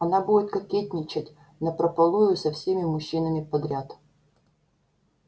она будет кокетничать напропалую со всеми мужчинами подряд